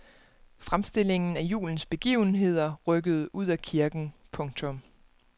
Fremstillingen af julens begivenheder rykkede ud af kirken. punktum